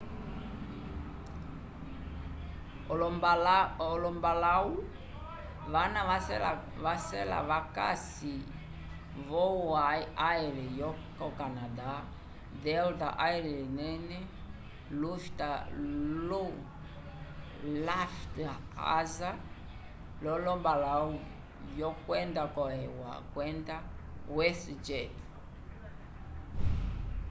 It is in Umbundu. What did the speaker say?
olombalahu vana vacela vakasi vo o air yo canada delta air lines lufthansa lo lombalahu vyenda ko eua kwenda west jet